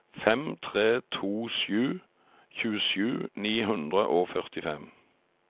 fem tre to sju tjuesju ni hundre og førtifem